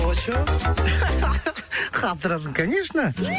очоу қатырасың конечно